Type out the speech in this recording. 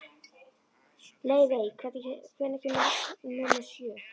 Leivi, hvenær kemur vagn númer sjö?